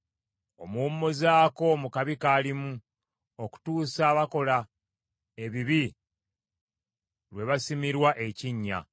omuwummuzaako mu kabi kaalimu, okutuusa abakola ebibi lwe balisimirwa ekinnya.